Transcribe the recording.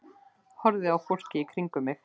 Horfði á fólkið í kringum mig.